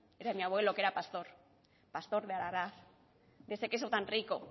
era mi abuelo que era pastor pastor de de ese queso tan rico